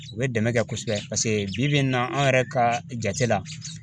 U bɛ dɛmɛ kɛ kosɛbɛ paseke bi bi in na an yɛrɛ ka jate la